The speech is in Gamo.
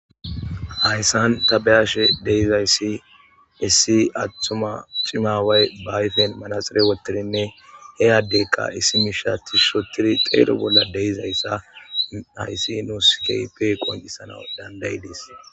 hayssan ta be7hashe de7izayssi issi attuma cima aaway ba ayfen manaxire wottirinne heyaddekka issi mishati shotidi xeero bolla de7izayssa hayssi nuu keehippe qoncisana dandayidees.